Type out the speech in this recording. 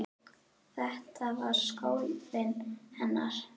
Þetta var skólinn hennar.